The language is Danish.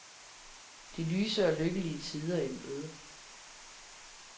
De lyse og lykkelige tider i møde.